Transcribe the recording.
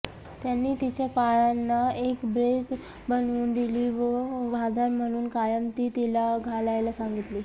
त्यांनी तिच्या पायांना एक ब्रेस बनवुन दिली व आधार म्हणुन कायम ती तिला घालायला सांगीतली